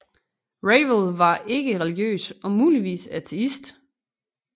Ravel var ikke religiøs og muligvis ateist